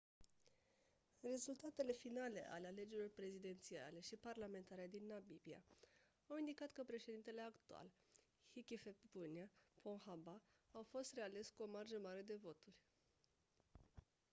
rezultatele finale ale alegerilor prezidențiale și parlamentare din namibia au indicat că președintele actual hifikepunye pohamba a fost reales cu o marjă mare de voturi